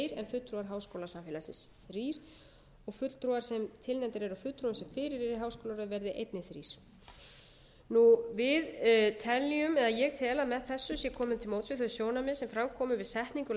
fulltrúar háskólasamfélagsins þrír og fulltrúar sem tilnefndir eru af þeim sem fyrir eru í háskólaráði verði einnig þrír ég tel að með þessu sé komið til móts við þau sjónarmið sem fram komu við setningu